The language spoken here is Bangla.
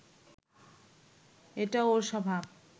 এটা ওর স্বভাব